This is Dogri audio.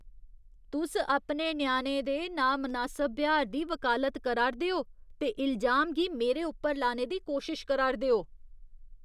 तुस अपने ञ्याणे दे नामनासब ब्यहार दी वकालत करा 'रदे ओ ते इलजाम गी मेरे उप्पर लाने दी कोशश करा' रदे ओ।